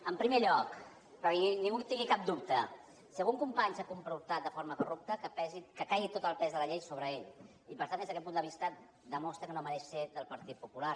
en primer lloc perquè ningú en tingui cap dubte si algun company s’ha comportat de forma corrupta que caigui tot el pes de la llei sobre ell i per tant des d’aquest punt de vista demostra que no mereix ser del partit popular